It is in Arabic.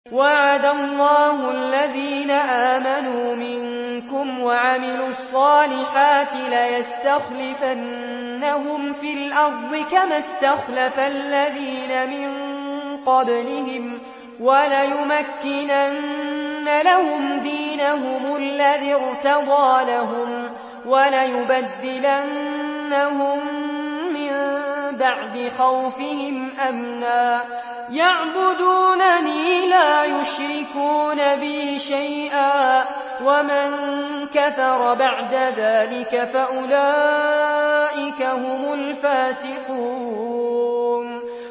وَعَدَ اللَّهُ الَّذِينَ آمَنُوا مِنكُمْ وَعَمِلُوا الصَّالِحَاتِ لَيَسْتَخْلِفَنَّهُمْ فِي الْأَرْضِ كَمَا اسْتَخْلَفَ الَّذِينَ مِن قَبْلِهِمْ وَلَيُمَكِّنَنَّ لَهُمْ دِينَهُمُ الَّذِي ارْتَضَىٰ لَهُمْ وَلَيُبَدِّلَنَّهُم مِّن بَعْدِ خَوْفِهِمْ أَمْنًا ۚ يَعْبُدُونَنِي لَا يُشْرِكُونَ بِي شَيْئًا ۚ وَمَن كَفَرَ بَعْدَ ذَٰلِكَ فَأُولَٰئِكَ هُمُ الْفَاسِقُونَ